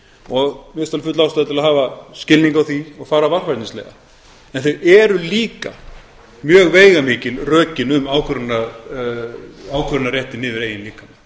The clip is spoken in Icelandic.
alveg full ástæða til að hafa skilning á því og fara varfærnislega en það eru líka mjög veigamikil rökin um ákvörðunarrétti yfir eigin líkama og